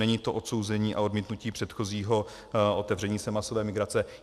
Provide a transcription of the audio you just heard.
Není to odsouzení a odmítnutí předchozího otevření se masové migrace.